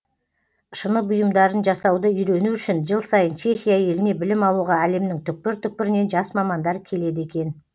шыны бұйымдарын жасауды үйрену үшін жыл сайын чехия еліне білім алуға әлемнің түкпір түкпірінен жас мамандар келеді екен